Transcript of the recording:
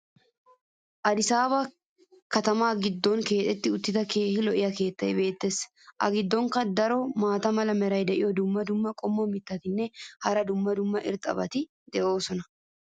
Addisaaba katamaa giddon keexetti uttida keehi lo'iya keetay beetees. A giddonkka daro maata mala meray diyo dumma dumma qommo mitattinne hara dumma dumma irxxabati de'oosona.